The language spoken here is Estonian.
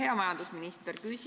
Hea majandusminister!